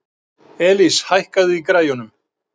Elis, hækkaðu í græjunum.